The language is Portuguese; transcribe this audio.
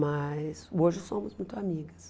Mas hoje somos muito amigas.